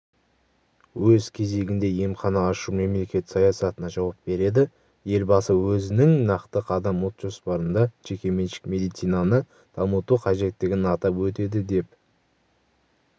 өз кезегінде емхана ашу мемлекет саясатына жауап береді елбасы өзінің нақты қадам ұлт жоспарында жекеменшік медицинаны дамыту қажеттігін атап өтеді деп